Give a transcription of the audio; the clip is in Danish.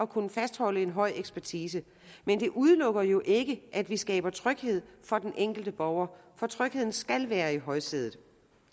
kunne fastholde en høj ekspertise men det udelukker jo ikke at vi skaber tryghed for den enkelte borger for trygheden skal være i højsædet